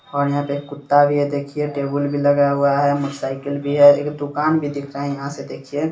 --और यहाँ पे एक कुत्ता भी है देखिए टेबुल भी लगा हुआ है मोटरसाइकिल भी है एक दुकान भी दिख रहा है यहाँ से देखिए।